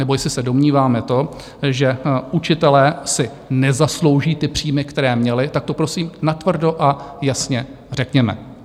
Nebo jestli se domníváme to, že učitelé si nezaslouží ty příjmy, které měli, tak to prosím natvrdo a jasně řekněme.